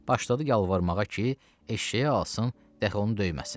Başladı yalvarmağa ki, eşşəyi alsın, dəhi onu döyməsin.